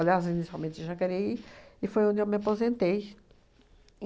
Aliás, inicialmente Jacareí e foi onde eu me aposentei.